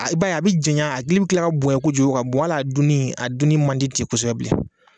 I ba a ye a bɛ janɲɛ a gili bɛ kila ka bonya kojugu bɔ hali a duni a duni mandi tɛ kosɛbɛ bilen.